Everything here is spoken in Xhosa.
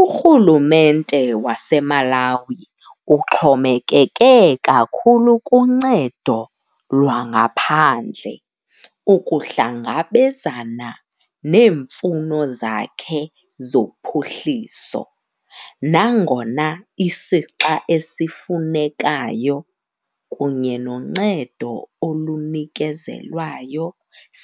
Urhulumente waseMalawi uxhomekeke kakhulu kuncedo lwangaphandle ukuhlangabezana neemfuno zakhe zophuhliso, nangona isixa esifunekayo kunye noncedo olunikezelwayo